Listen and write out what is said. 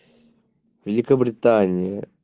великобритания